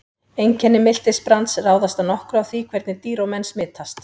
Einkenni miltisbrands ráðast að nokkru af því hvernig dýr og menn smitast.